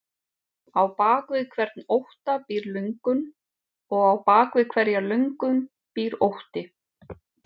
Á bak við hvern ótta býr löngun og á bak við hverja löngun býr ótti.